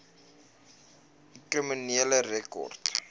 u kriminele rekord